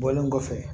Bɔlen kɔfɛ